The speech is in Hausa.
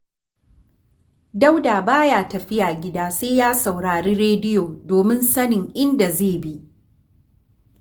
Dauda ba ya tafiya gida sai ya sauri rediyo domin sanin inda zai bi